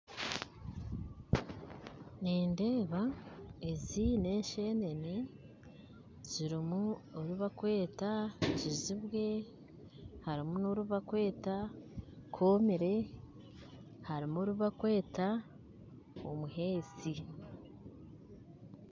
Nindeeba ezi na enshenene zirimu orubakweta kizibwe harimu n'orubakweta komere harimu orubakweta omuheesi